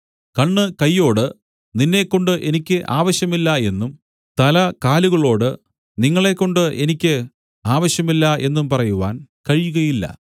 കണ്ണ് കയ്യോട് നിന്നെക്കൊണ്ട് എനിക്ക് ആവശ്യമില്ല എന്നും തല കാലുകളോട് നിങ്ങളെക്കൊണ്ട് എനിക്ക് ആവശ്യമില്ല എന്നും പറയുവാൻ കഴിയുകയില്ല